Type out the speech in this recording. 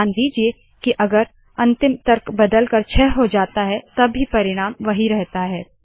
ध्यान दीजिए की अगर अंतिम तर्क बदलकर छह हो जाता है तब भी परिणाम वही रहता है